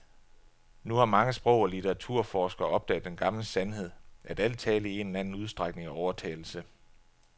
Nu har mange sprog og litteraturforskere opdaget den gamle sandhed, at al tale i en eller anden udstrækning er overtalelse.